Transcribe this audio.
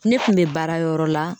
Ne kun bɛ baara yɔrɔ la